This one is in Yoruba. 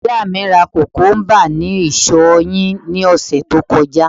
ọmọ iya mi ra kukumba ni isọ yin ni ọsẹ ti o kọjá